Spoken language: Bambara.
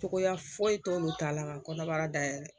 Togoya foyi t'olu ta la ka kɔnɔbara dayɛlɛ